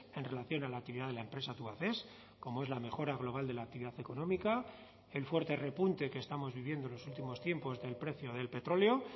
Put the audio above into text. en relación a la actividad de la empresa tubacex como es la mejora global de la actividad económica el fuerte repunte que estamos viviendo en los últimos tiempos del precio del petróleo